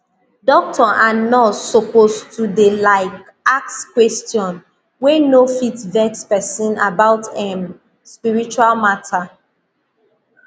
doctor and nurse suppose to dey like ask question wey no fit vex pesin about em spiritual matter